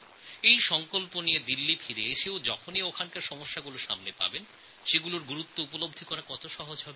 এই সঙ্কল্প করে দিল্লিতে ফেরার পরে ওখানকার সমস্যার সমাধান করা অনেক সহজ হয়ে যায়